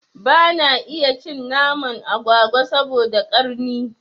Bana iya cin naman agwagwa saboda ƙarni